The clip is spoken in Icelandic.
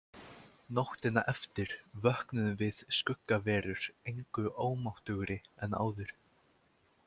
Nóttina eftir vöknuðum við skuggaverur engu ómáttugri en áður.